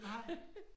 Nej